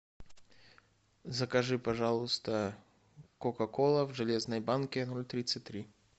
закажи пожалуйста кока кола в железной банке ноль тридцать три